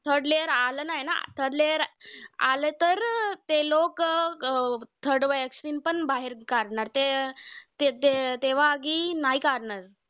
Third layer आलं नाय ना! Third layer आलं तर ते लोकं अं third vaccine पण बाहेर काढणार. ते ते अं तेव्हा आधी नाय काढणार. ते ते तेव्हा आधी नाय काढणार.